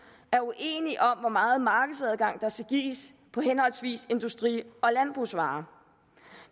er uenige om hvor meget markedsadgang der skal gives på henholdsvis industri og landbrugsvarer